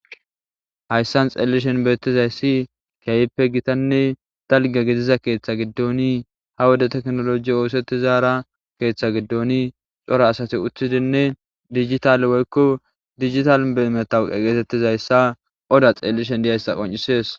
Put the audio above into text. Hayisani xelishini betizayisi kehippe gitanne daliga gidiza kehatha giddoni ha Wode tekkinoloje othetizara ha keeththe giddoni cora asati utidinne dijitale dijitale matawuqa getetizayisa oda xeliishshe dizayisa qoncisidesi